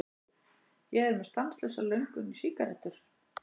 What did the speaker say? Ég er með stanslausa löngun í sígarettur.